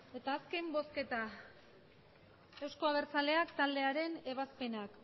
eta azken bozketa euzko abertzaleak taldearen ebazpenak